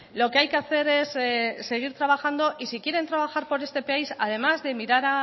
lo que hay que hacer es seguir trabajando y si quieren trabajar por este país además de mirar